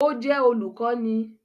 Ó jẹ́ olùkọ́ni